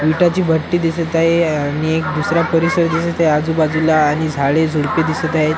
विटाची भट्टी दिसत आहे आणि एक दुसरा परिसर दिसत आहे आजूबाजूला आणि झाडे झुडपे दिसत आहेत.